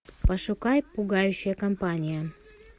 пошукай пугающая компания